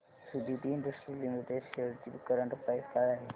Suditi industries limited shares ची current price काय आहे